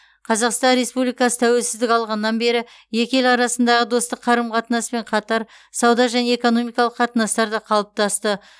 қазақстан республикасы тәуелсіздік алғаннан бері екі ел арасындағы достық қарым қатынаспен қатар сауда және экономикалық қатынастар да қалыптасты